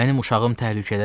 Mənim uşağım təhlükədədir.